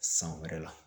San wɛrɛ la